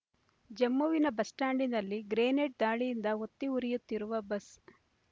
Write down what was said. ಜಮ್ಮುವಿನ bus ಸ್ಟಾಂಡ್‌ನಲ್ಲಿ grenade ದಾಳಿಯಿಂದ ಹೊತ್ತಿ ಉರಿಯುತ್ತಿರುವ ಬಸ್